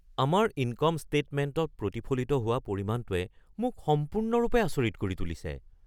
আমাৰ ইনকম ষ্টেটমেণ্টত প্ৰতিফলিত হোৱা পৰিমাণটোৱে মোক সম্পূৰ্ণৰূপে আচৰিত কৰি তুলিছে।